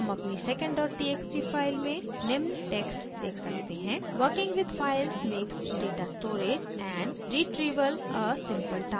हम अपनी secondtxt file में निम्न टेक्स्ट देख सकते हैं: working with files makes data storage and retrieval a simple task!